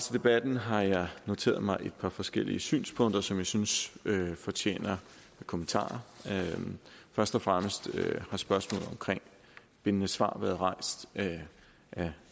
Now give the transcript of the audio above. debatten har jeg noteret mig et par forskellige synspunkter som jeg synes fortjener kommentarer først og fremmest har spørgsmålet om bindende svar været rejst af